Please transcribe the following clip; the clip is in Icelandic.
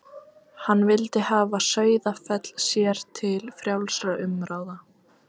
Hann vildi hafa Sauðafell sér til frjálsra umráða.